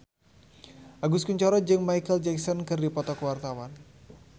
Agus Kuncoro jeung Micheal Jackson keur dipoto ku wartawan